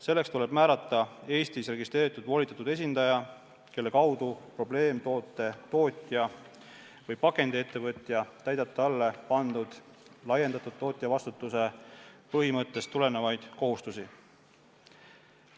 Selleks tuleb määrata Eestis registreeritud volitatud esindaja, kelle kaudu probleemtoote tootja või pakendiettevõtja täidab talle pandud laiendatud tootjavastutuse põhimõttest tulenevaid kohustusi.